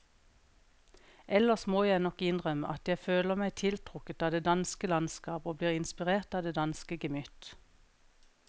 Ellers må jeg nok innrømme at jeg føler meg tiltrukket av det danske landskap og blir inspirert av det danske gemytt.